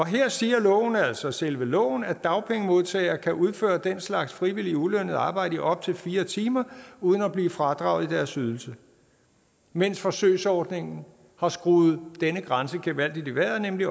her siger loven altså selve loven at dagpengemodtagere kan udføre den slags frivilligt ulønnet arbejde i op til fire timer uden at blive fradraget i deres ydelse mens forsøgsordningen har skruet denne grænse gevaldigt i vejret nemlig